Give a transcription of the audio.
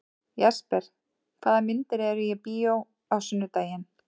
Jesper, hvaða myndir eru í bíó á sunnudaginn?